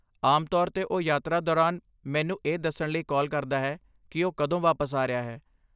ਆਮ ਤੌਰ 'ਤੇ ਉਹ ਯਾਤਰਾ ਦੌਰਾਨ ਮੈਨੂੰ ਇਹ ਦੱਸਣ ਲਈ ਕਾਲ ਕਰਦਾ ਹੈ ਕਿ ਉਹ ਕਦੋਂ ਵਾਪਸ ਆ ਰਿਹਾ ਹੈ।